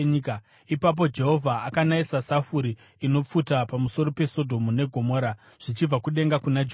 Ipapo Jehovha akanayisa safuri inopfuta pamusoro peSodhomu neGomora, zvichibva kudenga kuna Jehovha.